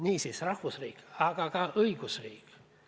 Niisiis rahvusriik, aga ka õigusriik.